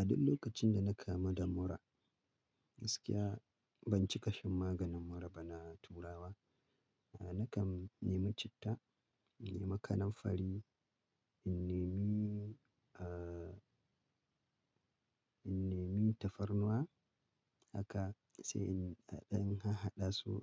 A duk lokacin da na kamu da murra gaskiya ban cika shan maganin murra ba na turawa. Nakan nemi citta, in nema kanamfari, in nemi, eh, in nemi tafarnuwa haka sai in in hahada su